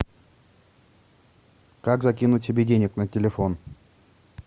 как закинуть себе денег на телефон